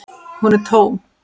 Hún er tóm.